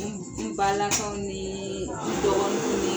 N n Balakaw niii dɔgɔniw